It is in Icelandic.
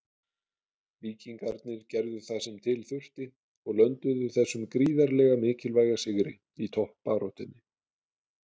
Víkingarnir gerðu það sem til þurfti og lönduðu þessum gríðarlega mikilvæga sigri í toppbaráttunni.